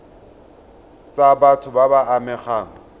tsa batho ba ba amegang